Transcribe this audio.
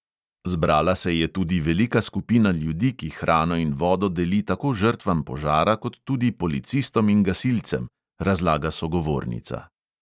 "Zbrala se je tudi velika skupina ljudi, ki hrano in vodo deli tako žrtvam požara kot tudi policistom in gasilcem," razlaga sogovornica.